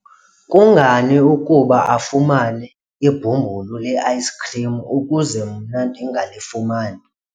kungani ukuba afumane ibhumbulu le-ayisikhrim ukuze mna ndingalifumani?